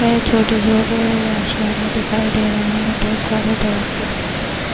یہ چھوٹے چھوٹے آشیانے دکھایی دے رہی ہیں، بہت سارے درخت دکھایی دے رہی ہان-